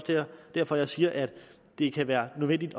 derfor jeg siger at det kan være nødvendigt